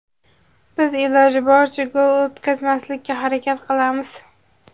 Biz iloji boricha gol o‘tkazmaslikka harakat qilamiz.